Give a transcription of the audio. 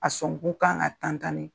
A sɔnku ka kan ka